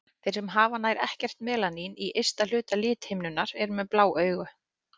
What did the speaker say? Þeir sem hafa nær ekkert melanín í ysta hluta lithimnunnar eru með blá augu.